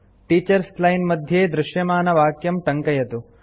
teachers line मध्ये दृश्यमानवाक्यं टङ्कयतु